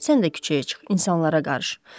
Sən də küçəyə çıx, insanlara qarış.